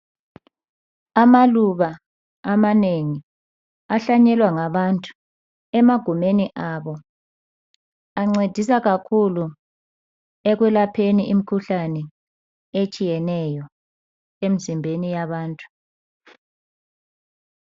Amaluba amanengi ahlanyelwa ngabantu emagumeni abo, ancedisa kakhulu ekulapheni imikhuhlane etshiyeneyo emizimbeni yabantu.